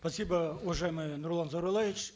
спасибо уважаемый нурлан зайроллаевич